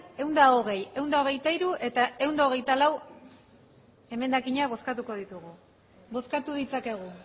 ehun eta hogei ehun eta hogeita hiru eta ehun eta hogeita lau emendakinak bozkatuko ditugu bozkatu ditzakegu